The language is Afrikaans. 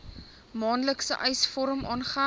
maandelikse eisvorm aangeheg